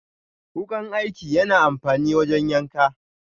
Wukan aiki yana amfani wajen yanka.